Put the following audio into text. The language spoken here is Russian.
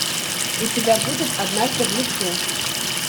у тебя будет однажды в лесу